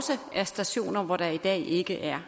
det er